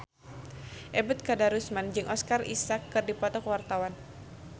Ebet Kadarusman jeung Oscar Isaac keur dipoto ku wartawan